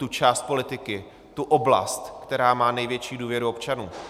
Tu část politiky, tu oblast, která má největší důvěru občanů.